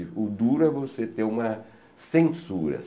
O duro é você ter uma censura.